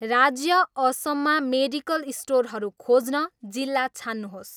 राज्य असममा मेडिकल स्टोरहरू खोज्न जिल्ला छान्नुहोस्